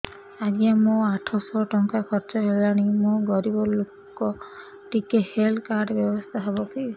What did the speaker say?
ଆଜ୍ଞା ମୋ ଆଠ ସହ ଟଙ୍କା ଖର୍ଚ୍ଚ ହେଲାଣି ମୁଁ ଗରିବ ଲୁକ ଟିକେ ହେଲ୍ଥ କାର୍ଡ ବ୍ୟବସ୍ଥା ହବ କି